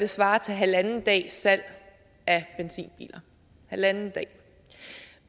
svarer til halvanden dags salg af benzinbiler halvanden dag